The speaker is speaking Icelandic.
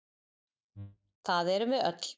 Það erum við öll.